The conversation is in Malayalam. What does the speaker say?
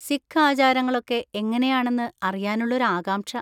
സിഖ് ആചാരങ്ങളൊക്കെ എങ്ങനെയാണെന്ന് അറിയാനുള്ളൊരു ആകാംക്ഷ.